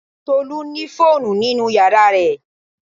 Tolu ni fóònù nínú yàrá rẹ̀